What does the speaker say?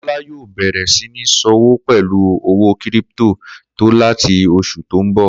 Kó̩lá yóò bè̩rè̩ sí ní s̩òwò pè̩lú owó kírípi̩tò láti os̩ù tó ń bò